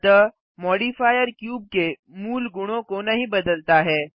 अतः modifier cube के मूल गुणों को नहीं बदलता है